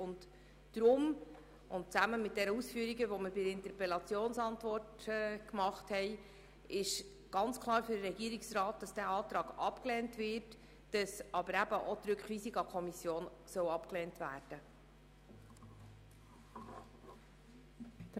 Deshalb und aufgrund der Ausführungen in der Interpellationsantwort, lehnt der Regierungsrat diesen Antrag, auch in Form einer Rückweisung in die Kommission ganz klar ab.